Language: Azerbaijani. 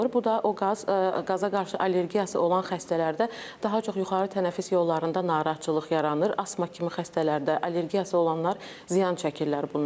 Bu da o qaz qaza qarşı allergiyası olan xəstələrdə daha çox yuxarı tənəffüs yollarında narahatçılıq yaranır, asma kimi xəstələrdə allergiyası olanlar ziyan çəkirlər bundan.